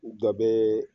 Dɔ bɛ